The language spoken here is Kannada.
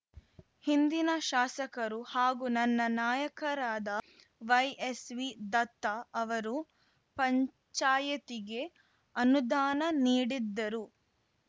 ಹಿಂದಿನ ಶಾಸಕರು ಹಾಗೂ ನನ್ನ ನಾಯಕರಾದ ವೈಎಸ್‌ವಿ ದತ್ತ ಅವರು ಪಂಚಾಯ್ತಿಗೆ ಅನುದಾನ ನೀಡಿದ್ದರು